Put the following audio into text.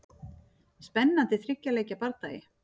Spennandi þriggja leikja bardagi.